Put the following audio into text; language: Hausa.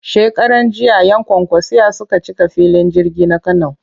Shekaranjiya 'yan kwankwasiyya suka cika filin jirgin na Kano